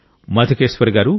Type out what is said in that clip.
మధుకేశ్వర్ గారూ